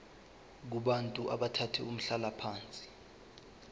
kubantu abathathe umhlalaphansi